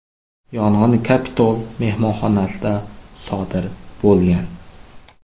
Yong‘in Capitol mehmonxonasida sodir bo‘lgan.